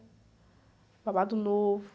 Babado Novo.